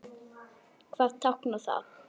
Hvað táknar það?